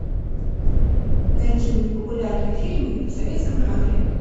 найди мне популярные фильмы в советском жанре